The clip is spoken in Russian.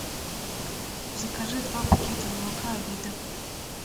закажи два пакета молока авида